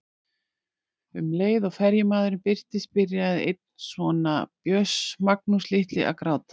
Um leið og ferjumaðurinn birtist byrjaði einn sona Björns, Magnús litli, að gráta.